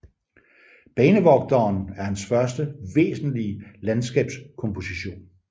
Banevogteren er hans første væsentlige landskabskomposition